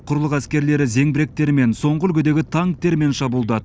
құрлық әскерлері зеңбіректерімен соңғы үлгідегі танктермен шабуылдады